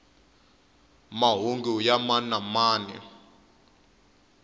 mahungu ya mani na mani